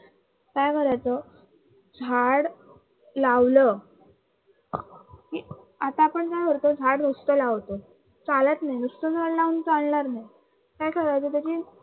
काय करायचं झाडं लावलं आता आपण काय करतो झाडं नुसत लावतो. नुसतं झाडं लाऊन चालणार नाही, काय करायचं त्याची